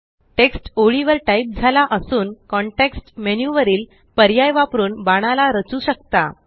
text ओळीवर type झाला असून कॉन्टेक्स्ट मेन्यु वरील पर्याय वापरून बाणाला रचू शकता